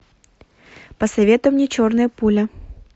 посоветуй мне черная пуля